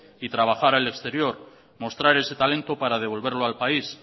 y trabajar al exterior mostrar ese talento para devolverlo al país